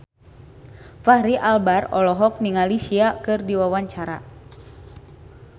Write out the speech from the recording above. Fachri Albar olohok ningali Sia keur diwawancara